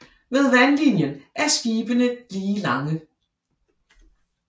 Ved vandlinjen er skibene lige lange